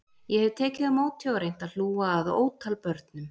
Ég hef tekið á móti og reynt að hlúa að ótal börnum